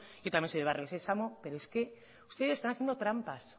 yo también soy de barrio sesamo pero es que ustedes están haciendo trampas